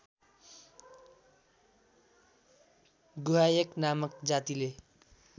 गुह्यक नामक जातिले